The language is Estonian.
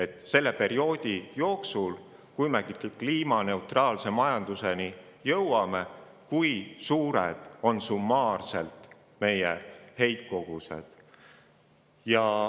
Kui suured on heitkogused selle perioodi ajal, kui me kliimaneutraalse majanduseni jõuame?